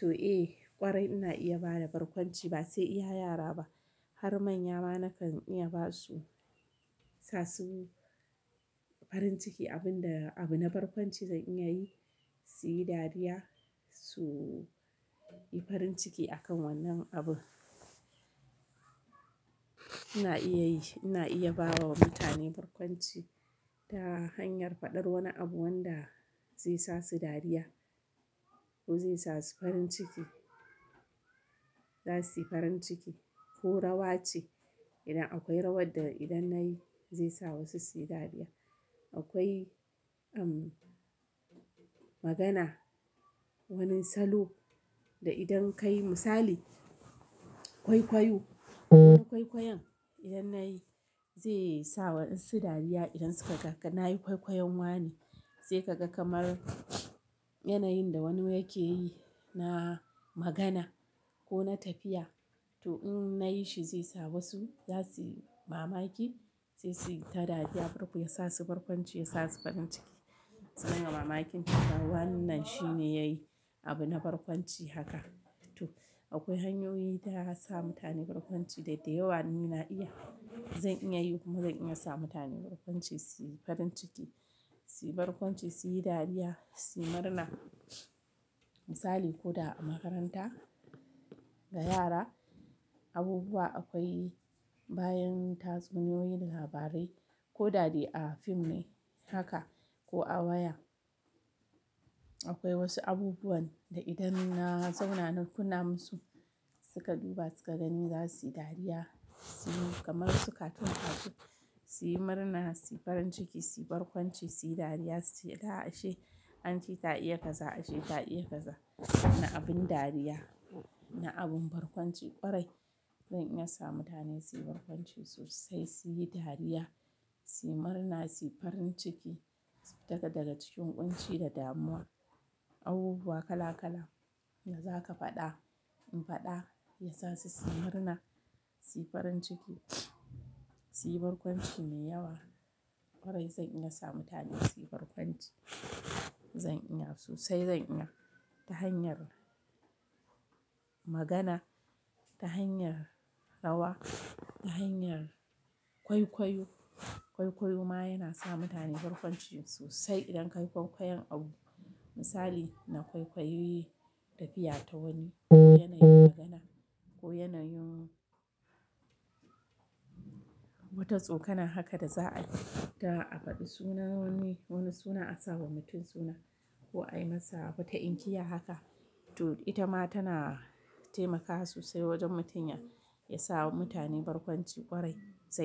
To eh kwarai ina iya bada barkwanci ba sai iya yara ba har manya ma nakan iya basu sa su farin ciki abun da abu na barkwanci zan iya yi su yi dariya su yi farin ciki akan wannan abu. Ina iya yi, ina iya bawa mutane barkwanci ta hanyar faɗar wani abu wanda zai sa su dariya ko zai sa su farin ciki. Za su yi farin ciki ko rawa ce idan akwai rawar da idan na yi zai sa wasu su yi dariya. Akwai umm magana, wani salo da idan ka yi misali kwaikwayo. Wata kwaikwayon idan na yi zai sa wasu dariya idan suka ga na yi kwaikwayon wane. Zai ka ga kamar yanayin da wani yake yi na magana ko na tafiya to in na yi shi zai sa wasu zasu yi mamaki, sai su yi ta dariya farko ya sa su barkwanci ya sa su farin ciki. Su naiwa mamakin ta cewa wannan shine yayi abu na barkwanci haka. To akwai hanyoyi ta ya sa mutane barkwanci dai da yawa ni na iya. Zan iya yi kuma zan iya sa mutane barkwanci su yi farin ciki, su yi barkwanci su yi dariya su yi murna. Misali ko da a makaranta da yara abubuwa akwai bayan tatsuniyoyi da labarai ko da dai a fim ne haka ko a waya. Akwai wasu abubuwan da idan na zauna na kunna musu suka duba suka gani zasu yi dariya, su yi kamar su cartoon dasu su yi murna su yi farin ciki su yi barkwanci su yi dariya su ce "la ashe Aunty ta iya kaza ashe ta iya kaza". Na abun dariya, na abun barkwanci kwarai zan iya sa mutane su yi barkwanci sosai su yi dariya su murna su yi farin ciki su fita daga cikin ƙunci da damuwa. Abubuwa kala-kala da zaka faɗa in faɗa ya sa su murna su yi farin ciki su yi barkwanci mai yawa. Kwarai zan iya sa mutane su yi barkwanci. Zan iya sosai zan iya ta hanyar magana, ta hanyar rawa, ta hanyar kwaikwayo. Kwaikwayo ma yana sa mutane barkwanci sosai idan ka yi kwaikwayon abu. Misali na kwaikwayi tafiya ta wani ko yanayin magana ko yanayin wata tsokana haka da za a yi ta a faɗi suna wani wani suna a sa wa mutum suna ko a yi masa wata inkiya haka. To ita ma tana taimakawa sosai wajen mutum ya ya sa wa mutane barkwanci kwarai zan.